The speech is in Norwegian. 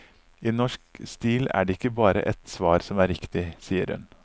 I norsk stil er det ikke bare ett svar som er riktig, sier hun.